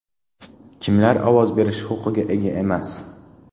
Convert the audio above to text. Kimlar ovoz berish huquqiga ega emas?